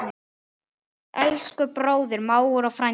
Elsku bróðir, mágur og frændi.